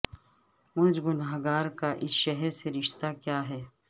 مجھ گنہگار کا اس شہر سے رشتہ کیا ہے